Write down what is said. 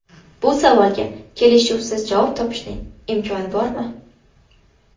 Bu savolga kelishuvsiz javob topishning imkoni bormi?